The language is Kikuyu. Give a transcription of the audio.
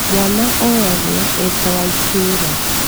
Mwana oyagwo eta wa itũũra